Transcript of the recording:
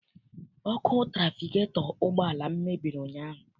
Ọkụ trafigetọ ụgbọala m mebiri ụnyaahụ.